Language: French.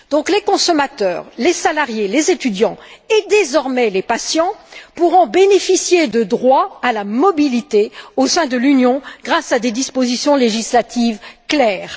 Les consommateurs, les salariés, les étudiants et désormais les patients pourront donc bénéficier de droits à la mobilité au sein de l'Union grâce à des dispositions législatives claires.